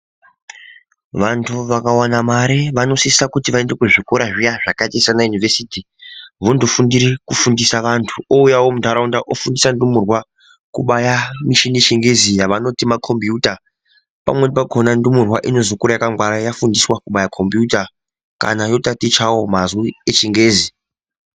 Vantu vakawana mare vanosisa kuti vaende kuzvikora zviya zvakaita saana yunivhesiti vondofundire kufundisa vantu ouya muntaraunda ofundisawo ndumurwa kubaya michini yechingezi yavanoti makombiyuta pamweni pakhona ndumurwa inozokura yakangwara yafundiswa kubaya kombiyuta kana yotatichawo mazwi echingezi.